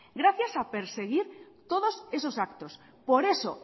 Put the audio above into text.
gracias a perseguir todos esos actos por eso